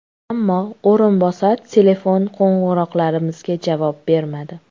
Ammo o‘rinbosar telefon qo‘ng‘iroqlarimizga javob bermadi.